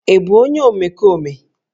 Ị bụ onye omekome?